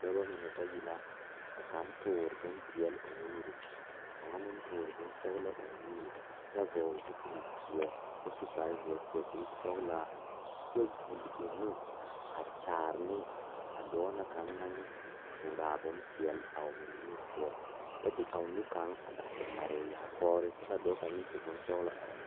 Dɔɔba banuu a zɔŋ a a kuriwiire kaŋa eɛ ziɛ kyɛ taa peɛle kaa kuriwiire mine e sɔglɔ kyɛ ka konkobile fare a kuriwiire poɔ a e doɔre.